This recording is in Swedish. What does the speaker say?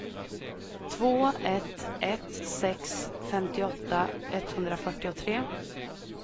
två ett ett sex femtioåtta etthundrafyrtiotre